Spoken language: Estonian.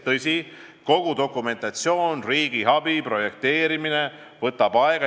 Tõsi, dokumentatsioon, riigiabi vormistamine ja projekteerimine võtavad aega.